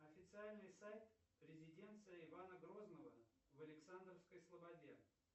официальный сайт резиденция ивана грозного в александровской слободе